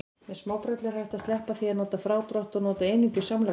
Með smábrellu er hægt að sleppa því að nota frádrátt og nota einungis samlagningu.